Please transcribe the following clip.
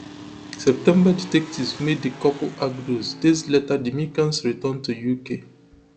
september detectives make di couple arguidos and days later di mccanns return to uk